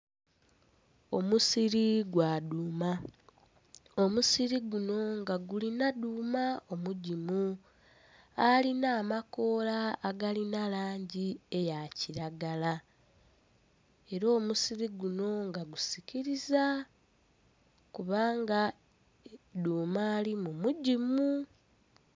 Omusiri gwa dhuuma, omusiri guno nga gulina dhuuma omugimu alina amakoola agalina langi eya kilagala. Era omusiri guno nga gusikiliza, kubanga dhuuma alimu mugimu.